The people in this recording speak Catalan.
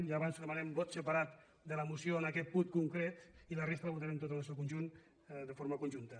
ja ho avanço demanarem vot separat de la moció en aquest punt concret i la resta la votarem tota en el seu conjunt de forma conjunta